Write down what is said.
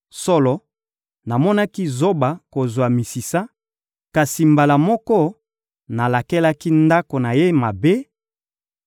Solo, namonaki zoba kozwa misisa; kasi, mbala moko, nalakelaki ndako na ye mabe: